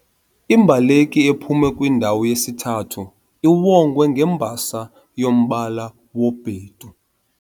Imbaleki ephume kwindawo yesithathu iwongwe ngembasa yombala wobhedu.